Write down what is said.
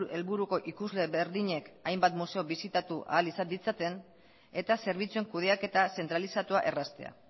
helburuko ikusle berdinek hainbat museo bisitatu ahal izan ditzaten eta zerbitzuen kudeaketa zentralizatua erraztea